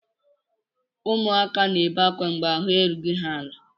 Ụmụaka na-ebe akwa mgbe ahụ erughị ha ala.